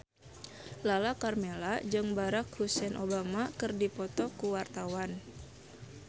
Lala Karmela jeung Barack Hussein Obama keur dipoto ku wartawan